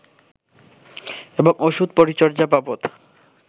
এবং ওষুধ-পরিচর্যা বাবদ